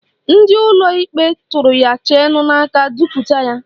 Ndị ụlọ ikpe tụrụ ya cheenu n'aka duputa ya.